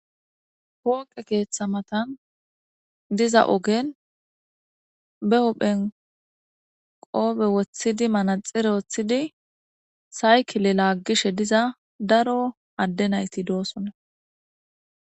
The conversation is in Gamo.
Pooqe keeththa matan diza ogen be huphen qoobe woththidi manaxire woththidi saykile laaggishe diza daro adde nayti doosona.